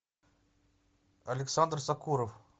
александр сокуров